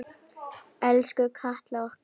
Elsku Katla okkar.